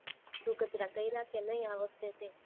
ધુહ-કચરા કર્યા કે નઈ તે આ વખતે તે